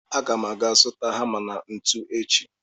Aga m ga zụta hama na ntu echi